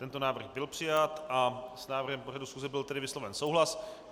Tento návrh byl přijat a s návrhem pořadu schůze byl tedy vysloven souhlas.